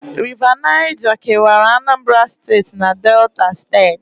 River Niger kewara Anambra na Delta steeti